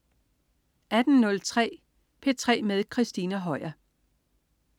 18.03 P3 med Christina Høier